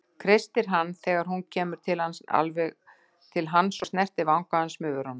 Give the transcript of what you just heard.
Kreistir hann þegar hún kemur alveg til hans og snertir vanga hans með vörunum.